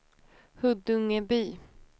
Huddungeby